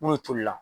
N'o tolila